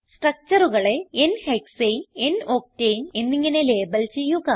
structureകളെ n ഹെക്സാനെ n octane എന്നിങ്ങനെ label ചെയ്യുക